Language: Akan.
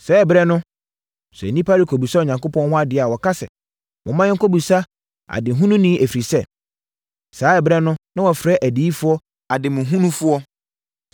(Saa ɛberɛ no, sɛ nnipa rekɔbisa Onyankopɔn hɔ adeɛ a, wɔka sɛ, “Momma yɛnkɔbisa ademuhununi” ɛfiri sɛ, saa ɛberɛ no na wɔfrɛ adiyifoɔ ademuhunufoɔ.)